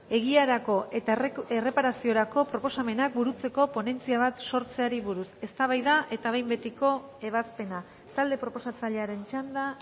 egiarako eta erreparaziorako proposamenak burutzeko ponentzia bat sortzeari buruz eztabaida eta behin betiko ebazpena talde proposatzailearen txanda